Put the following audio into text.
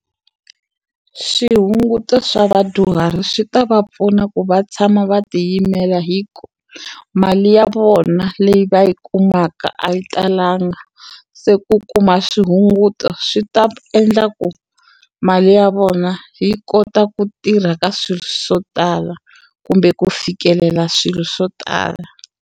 Swihunguto swa vadyuhari swi ta va pfuna ku va tshama va tiyimela hi ku mali ya vona leyi va yi kumaka a yi talanga se ku kuma swihunguto swi ta endla ku mali ya vona yi kota ku tirha ka swilo swo tala kumbe ku fikelela swilo swo tala.